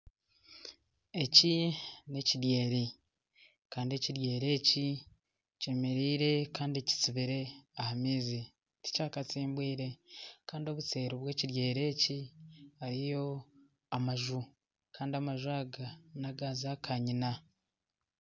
Eki n'ekidyeeri kandi ekidyeeri eki kyemereire kandi kisibire aha maizi tikyakatsimbwire. Kandi Obuseeri bw'ekidyeeri eki hariyo amaju kandi amaju aga n'aga zaakanyina.